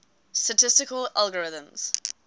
statistical algorithms